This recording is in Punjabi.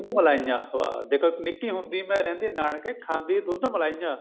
ਦੁਧ ਮਲਾਈਆਂ ਦੇਖੋ ਨਿੱਕੀ ਹੁੰਦੀ ਮੈਂ ਰਹਿੰਦੀ ਨਾਨਕੇ ਖਾਂਦੀ ਦੁੱਧ ਮਲਾਈਆਂ